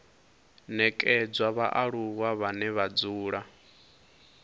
nekedzwa vhaaluwa vhane vha dzula